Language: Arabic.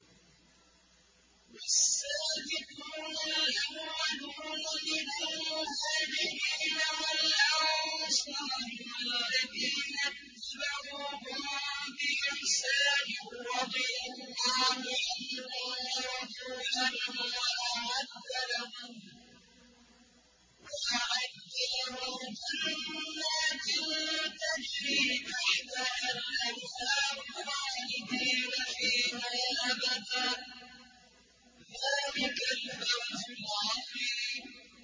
وَالسَّابِقُونَ الْأَوَّلُونَ مِنَ الْمُهَاجِرِينَ وَالْأَنصَارِ وَالَّذِينَ اتَّبَعُوهُم بِإِحْسَانٍ رَّضِيَ اللَّهُ عَنْهُمْ وَرَضُوا عَنْهُ وَأَعَدَّ لَهُمْ جَنَّاتٍ تَجْرِي تَحْتَهَا الْأَنْهَارُ خَالِدِينَ فِيهَا أَبَدًا ۚ ذَٰلِكَ الْفَوْزُ الْعَظِيمُ